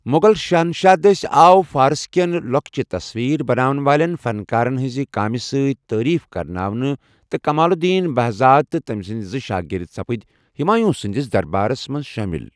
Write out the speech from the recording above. مُغل شہنشاہ دٔسۍ آو فارس كین لوكچہِ تصویرٕ بناون والین فنکارَن ہٕنٛز کٲمہِ سۭتۍ تعاریف كرناونہٕ تہٕ کمال الدین بہزاد تہٕ تمہِ سٕندِ زٕ شٲگِرد سپِدِ ہُمایوٗں سٕندِس دربارس منز شٲمَل ۔